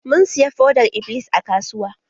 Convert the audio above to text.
Mun siya fodar-iblis a kasuwa.